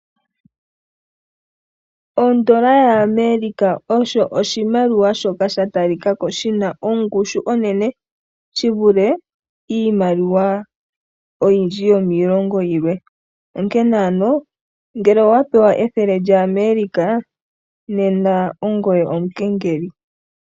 Ondola yAmerica osho oshimaliwa shoka sha talika ko shina ongushu onene shi vule iimaliwa oyindji yomiilongo yilwe onkene ano ngele owa pewa ethele lyAmerica nena ongoye omukengeli.